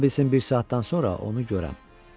Ola bilsin bir saatdan sonra onu görəm.